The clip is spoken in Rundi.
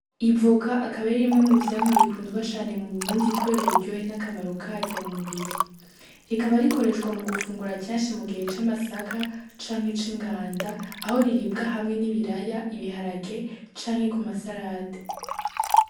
Ivoka akaba ari rimwe mu vyamwa bikundwa cane mu Burundi kubera uburyohe na kamaro karyo mu mubiri, rikaba rikoreshwa mu gufungura kenshi mu gihe c'amasaka canke c'inganda aho riribwa n'ibiraya, n'ibiharage canke ku masarade.